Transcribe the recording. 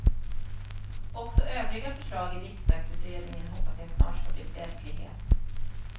Också övriga förslag i riksdagsutredningen hoppas jag snart ska bli verklighet.